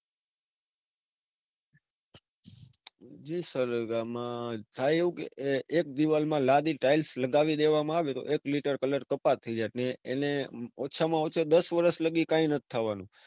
જે આમાં થાય એવું કે એક દીવાલ માં લાદી styles લગાવી દેવામાં આવે તો એક લિટર colour કપાત થઇ જાય એટલે એને ઓછા માં ઓછા દસ વરસ સુધી કઈ નથ થવાનું.